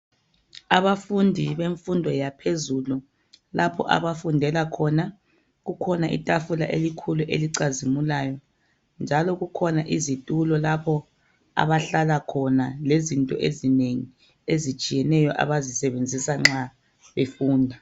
Abafundi bemfundo yaphezulu lapho abafundela khona kukhona itafula elikhulu elichazimulayo njalo kukhona izitulo lapho abahlala khona lezinto ezinengi ezitshiyeneyo abazisebenzisa nxa befunda.